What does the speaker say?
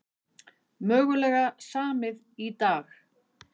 Mögulega samið í dag